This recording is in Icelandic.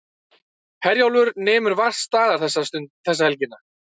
Herjólfur nemur vart staðar þessa helgina